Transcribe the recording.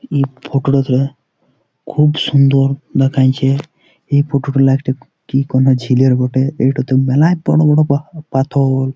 এই ফোটো -টা তে খুব সুন্দর দেখাইছে ।এই ফোটো -টা কি কোনো ঝিলের বটে ।এই টাতে মেলা বড় বড় পাথর-অ ।